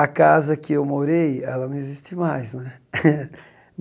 A casa em que morei ela não existe mais né.